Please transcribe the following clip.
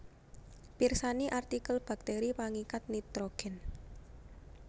Pirsani artikel bakteri pangikat nitrogen